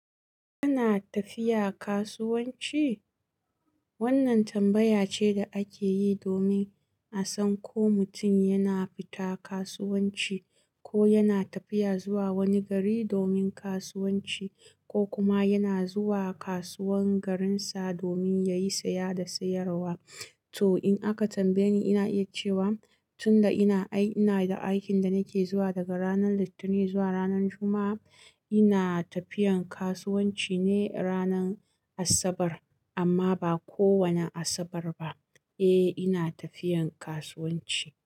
Kuna tafiya kasuwanci? Wannan tambaya ce da ake yi domin a san ko mutum yana fita kasuwanci, ko yana tafiya zuwa wani gari domin kasuwanci, ko kuma yana zuwa kasuwar garinsa domin ya yi saya da sayarwa. To, in aka tambaye ni, ina iya cewa tun da ina ai, ina da aikin da nake zuwa daga ranar Litinin zuwa ranar Juma'a. Ina tafiyan kasuwanci ne ranar Asabar, amma ba kowane Asabar ba. Eh, ina tafiyan kasuwanci.